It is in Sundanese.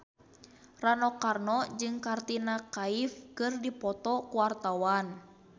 Rano Karno jeung Katrina Kaif keur dipoto ku wartawan